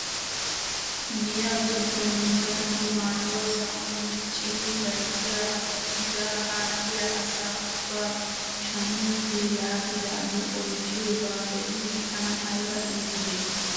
Giya giddon dumma dumma maayuwaa sa'an miccidi bayzziyaa asati yaa haa biyaa asaa ubbaa shamuutee yagi yagi oychchiyoogaa be'in tana ayba itidee!